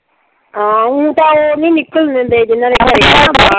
ਹਾਂ ਊਂ ਤਾਂ ਉਹ ਨਈਂ ਨਿਕਲਣ ਦਿੰਦੇ